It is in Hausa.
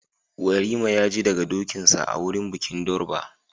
Yarima ya ji daga dokinsa a wurin bikin durbar